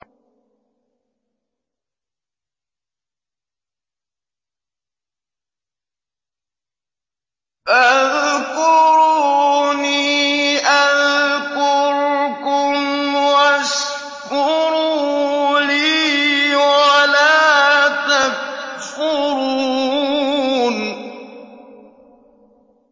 فَاذْكُرُونِي أَذْكُرْكُمْ وَاشْكُرُوا لِي وَلَا تَكْفُرُونِ